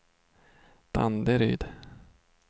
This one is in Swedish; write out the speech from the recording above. Danderyd